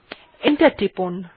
enter টিপুন